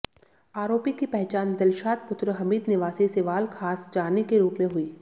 आरोपी की पहचान दिलशाद पुत्र हमीद निवासी सिवाल खास जानी के रूप में हुई